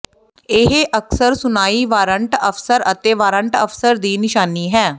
ਇਹ ਅਕਸਰ ਸੁਣਾਈ ਵਾਰੰਟ ਅਫ਼ਸਰ ਅਤੇ ਵਾਰੰਟ ਅਫਸਰ ਦੀ ਨਿਸ਼ਾਨੀ ਹੈ